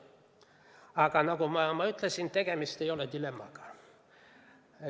Aga nagu ma ütlesin, tegemist ei ole dilemmaga.